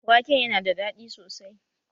Waken yana da daɗi sosai